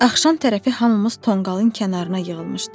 Axşam tərəfi hamımız tonqalın kənarına yığılmışdıq.